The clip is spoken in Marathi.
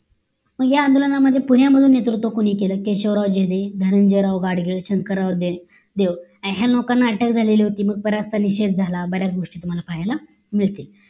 मग या आंदोलन मध्ये पुण्या मध्ये नेतृत्व कोणी केलं केशवराव झेडे धनंजय राव गाडगीळ शंकरराव देव आणि ह्या लोकांना अटक झालेली होती मग बराच वेळ निषेध झाला बऱ्याच गोष्टी तुम्हाला पाहायला मिळतील